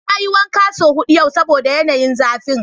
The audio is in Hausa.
Na yi wanka son hudu yau saboda yanayin zafin.